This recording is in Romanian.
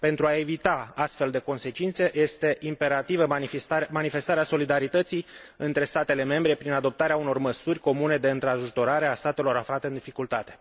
Pentru a evita astfel de consecințe, este imperativă manifestarea solidarității între statele membre, prin adoptarea unor măsuri comune de întrajutorare a statelor aflate în dificultate.